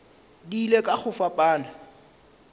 di ile ka go fapana